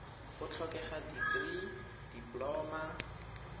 go tlhokega dikirii dipoloma